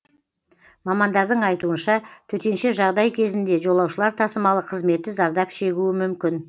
мамандардың айтуынша төтенше жағдай кезінде жолаушылар тасымалы қызметі зардап шегуі мүмкін